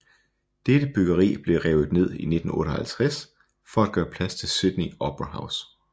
Dette byggeri blev revet ned i 1958 for at gøre plads til Sydney Opera House